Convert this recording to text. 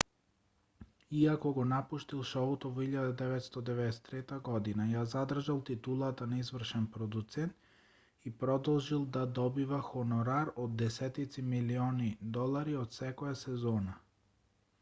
иако го напуштил шоуто во 1993 година ја задржал титулата на извршен продуцент и продолжил да добива хонорар од десетици милиони долари од секоја сезона